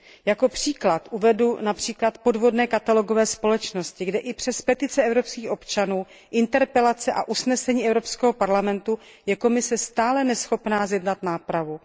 Jako příklad uvedu podvodné katalogové společnosti, kde i přes petice evropských občanů, interpelace a usnesení Evropského parlamentu je Komise stále neschopná zjednat nápravu.